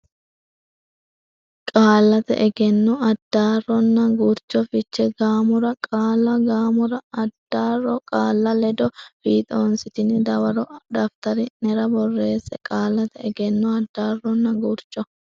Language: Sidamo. Qaallate Egenno Addaarronna Gurcho Fiche gaamora qaalla gaamora addaarro qaalla ledo fiixoonsitine dawaro daftari nera borreesse Qaallate Egenno Addaarronna Gurcho.